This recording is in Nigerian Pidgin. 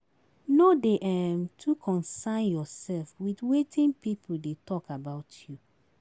No dey um too consyn yourself with wetin people dey talk about you